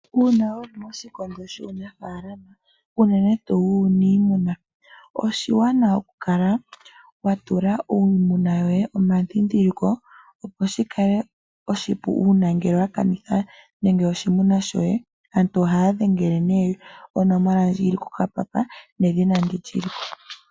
Uuna wuli moshilondo shuunafaalama unene tuu wuuniimuna oshiwanawa okukala watula iimuna yoye omadhidhiliko opo shikale oshipu uuna ngele wakanitha nande oshimuna shoye ,aantu ohaya dhengele onomola ndji yili kokapapa nedhina ndi liliko.